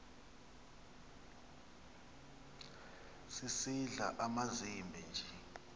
sisidl amazimba nje